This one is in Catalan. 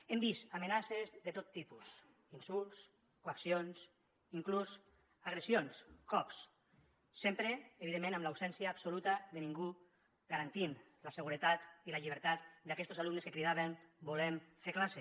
hem vist amenaces de tot tipus insults coaccions inclús agressions cops sempre evidentment amb absència absoluta de ningú que garantís la seguretat i la llibertat d’aquestos alumnes que cridaven volem fer classe